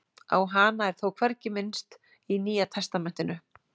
á hana er þó hvergi minnst í nýja testamentinu